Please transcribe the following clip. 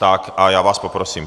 Tak, a já vás poprosím.